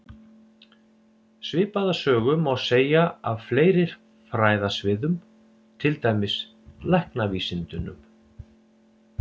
Svipaða sögu má segja af fleiri fræðasviðum, til dæmis læknavísindunum.